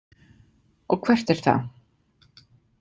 Og hvert er það?